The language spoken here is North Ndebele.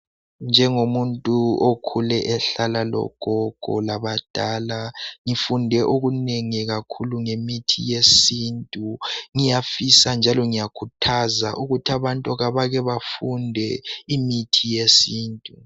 Njengomuntu okhule ehlala labogogo labadala ngifunde okunengi kakhulu ngemithi yesintu ngiyafisa njalo ngiyakhuthaza ukuthi abantu kabake bafunde imithi yesiNtu.